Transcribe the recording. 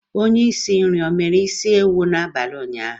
Onye isi nri o mere isi ewu n'abali unyaahu?